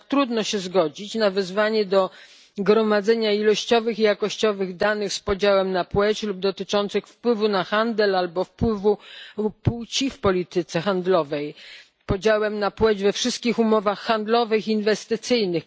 Jednak trudno się zgodzić na wezwanie do gromadzenia ilościowych i jakościowych danych z podziałem na płeć lub dotyczących wpływu na handel albo wpływu płci w polityce handlowej, podziałem na płeć we wszystkich umowach handlowych i inwestycyjnych.